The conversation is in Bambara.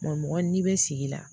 Maa mɔgɔ n'i bɛ sigi la